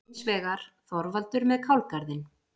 Hins vegar: Þorvaldur með kálgarðinn.